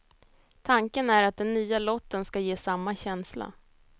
Tanken är att den nya lotten ska ge samma känsla.